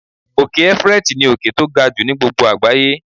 Òkè everest ní òkè tó ga jù ni gbogbo àgbáyé.